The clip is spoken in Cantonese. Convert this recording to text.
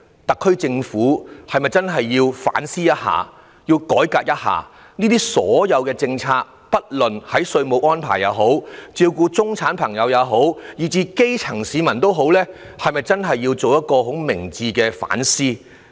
特區政府是否應該反思一下，並改革一下政策，不論是稅務安排也好、照顧中產或基層市民也好，都需要進行一次明智的反思。